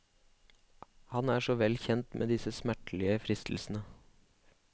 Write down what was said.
Han er så vel kjent med disse smertelige fristelsene.